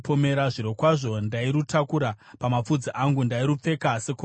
Zvirokwazvo ndairutakura pamapfudzi angu, ndairupfeka sekorona.